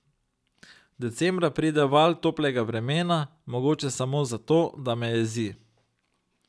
Decembra pride val toplega vremena, mogoče samo zato, da me jezi.